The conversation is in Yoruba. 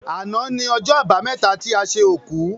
Àná ni ọjọ́ àbámẹ́ta ti a ṣe òkú.